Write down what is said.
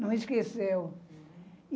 Não esqueceu.